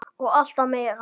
Og alltaf meira.